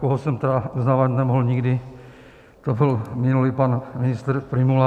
Koho jsem tedy uznávat nemohl nikdy, to byl minulý pan ministr Prymula.